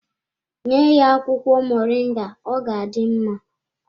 Nye ya akwụkwọ moringa ọ ga-adị mma.